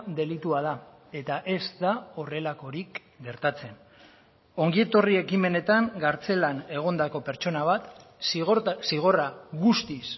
delitua da eta ez da horrelakorik gertatzen ongietorri ekimenetan kartzelan egondako pertsona bat zigorra guztiz